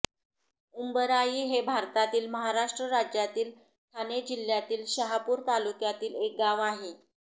उंभराई हे भारतातील महाराष्ट्र राज्यातील ठाणे जिल्ह्यातील शहापूर तालुक्यातील एक गाव आहे